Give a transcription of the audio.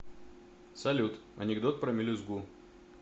салют анекдот про мелюзгу